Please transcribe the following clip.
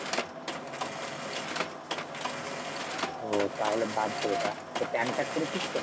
ওহ তাহলে বাদ দে ওটা তোর pan card করেছিস তো ?